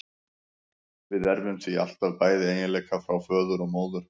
Við erfum því alltaf bæði eiginleika frá föður og móður.